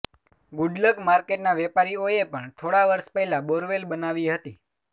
good luck માર્કેટના વેપારીઓએ પણ થોડાં વર્ષ પહેલાં બોરવેલ બનાવી હતી